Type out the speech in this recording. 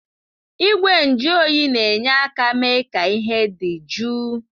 Igwe njụ oyi na-enye aka mee ka ihe dị jụụ.